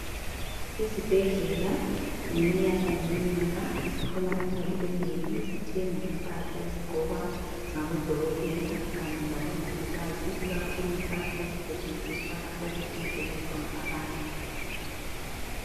Izibhedlela ngeminyaka ngemnyaka ziphuma imali enengi zithenga impahla ezigqokwa ngabodokotela kanye labomongikazi ikakhulu impahla ezisetshenziswa lapho okuhlinzelwa khona abantu.